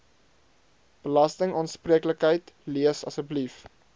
belastingaanspreeklikheid lees asseblief